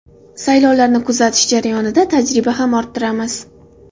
Saylovlarni kuzatish jarayonida tajriba ham orttiramiz.